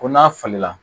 Ko n'a falenna